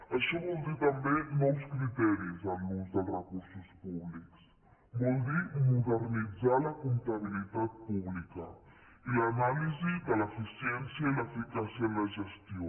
això vol dir també nous criteris en l’ús dels recursos públics vol dir modernitzar la comptabilitat pública i l’anàlisi de l’eficiència i l’eficàcia en la gestió